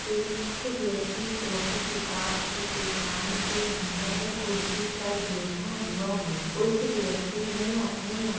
एक व्यक्ति कॉफी किताब की दुकान के अंदर कुर्सी पर बैठा हुआ हैं उस व्यक्ति ने अपनी आ--